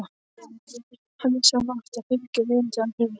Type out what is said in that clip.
Hann vissi að hann átti að fylgja veginum til Akureyrar.